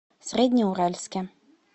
среднеуральске